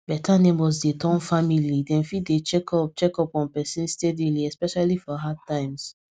beta neighbors dey turn family dem fit dey check up check up on person steadyily especially for hard times